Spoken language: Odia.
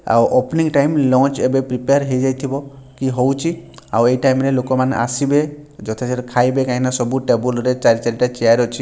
ଆଉ ଓପନଙ୍ଗ ଟାଇମ୍ ଲଞ୍ଚ ଏବେ ପ୍ରିପୟାର ହେଇଯାଥିବ କି ହଉଛି ଆଉ ଏଇ ଟାଇମ ରେ ଲୋକମାନେ ଆସିବେ ଯଉଥିରେ ଖାଇବେ କାଇଁକି ସବୁ ଟେବୁଲ ରେ ଚାରି ଚାରିଟା ଚେୟାର ଅଛି।